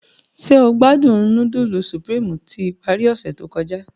Njẹ o gbadun nudulu Supreme ti ipari ose to kọja?